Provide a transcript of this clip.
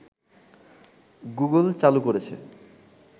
Google চালু করেছে